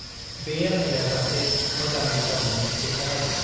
बे आनैया जाथे मोजां बिसार मोनो बेखौ नाइदो ।